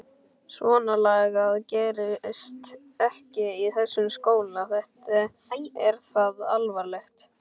Svonalagað gerist ekki í þessum skóla, þetta er það alvarlegt!